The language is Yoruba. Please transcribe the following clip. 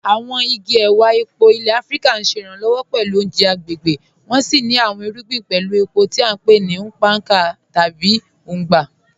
Àwọn igi èwà èpó ilẹ̀ Àfíríkà ṣé iranlọwọ pẹ̀lú ọ̀unjẹ̀ agbegbé, wọ́n sì ní àwọn irùgbìn pẹ̀lú èpó tí à npe ni "ùkpàkà" tàbí "ùgbà".